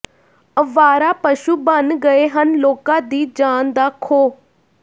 ਅਵਾਰਾ ਪਸ਼ੂ ਬਣ ਗਏ ਹਨ ਲੋਕਾਂ ਦੀ ਜਾਨ ਦਾ ਖੌਅ